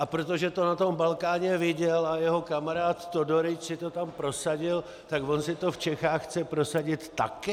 A protože to na tom Balkáně viděl a jeho kamarád Todorić si to tam prosadil, tak on si to v Čechách chce prosadit taky?